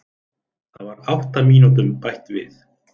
Það var átta mínútum bætt við